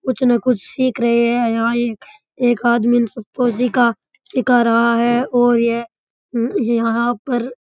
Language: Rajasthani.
कुछ न कुछ सिख रहे है यहाँ एक एक आदमी सबको सीखा सीखा रहा है और यहाँ पर --